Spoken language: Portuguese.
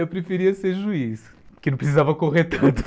Eu preferia ser juiz, porque não precisava correr tanto.